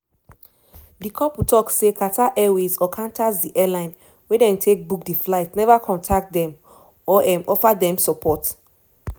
di couple tok say qatar airways or qantas di airline wey dem take book di flight neva contact dem or um offer dem support.